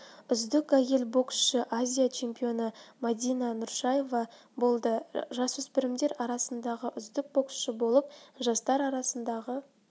үздік әйел боксшы азия чемпионы мадина нұршаева болды жасөспірімдер арасындағы үздік боксшы болып жастар арасындағы